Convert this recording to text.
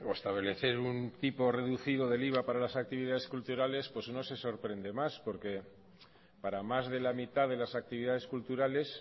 establecer un tipo reducido del iva para las actividades culturales pues no se sorprende más porque para más de la mitad de las actividades culturales